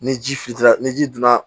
Ni ji fitiini ni ji donna